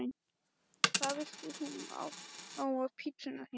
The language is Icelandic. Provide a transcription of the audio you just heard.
Hvað vilt þú fá á pizzuna þína?